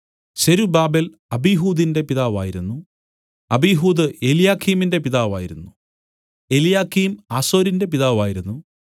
സെരുബ്ബാബേൽ അബീഹൂദിന്റെ പിതാവായിരുന്നു അബീഹൂദ് എല്യാക്കീമിന്റെ പിതാവായിരുന്നു എല്യാക്കീം ആസോരിന്റെ പിതാവായിരുന്നു